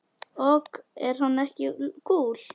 Ok, er hann ekki kúl?